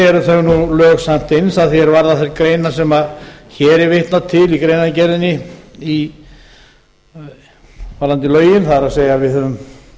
eru þau lög sett inn sem varða þær greinar hér er vitnað til í greinargerðinni varðandi lögin það er við höfum